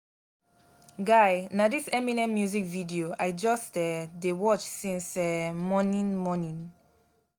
guy na dis eminem music video i just um dey watch since um morning morning